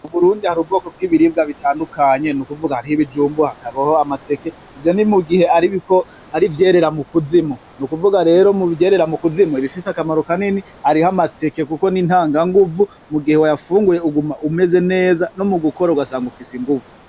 Mu Burundi hari ubwoko bw'ibiribwa bitandukanye. Ni ukuvuga hariho ibijumbu, hakabaho amateke. Ivyo ni mugihe ari ivyerera mu kuzimu. N'ukuvuga rero mu vyerera mu kuzimu, ibifise akamaro kanini, hariho amateke kuko ni ntanganguvu. Mugihe wayafunguye uguma umeze neza, no mu gukora ugasanga ufise inguvu.